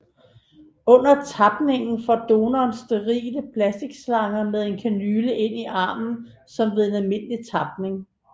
Under tapningen får donoren sterile plastikslanger med en kanyle ind i armen som ved en almindelig tapning